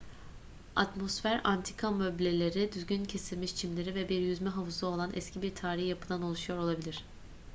atmosfer antika möbleleri düzgün kesilmiş çimleri ve bir yüzme havuzu olan eski bir tarihi yapıdan oluşuyor olabilir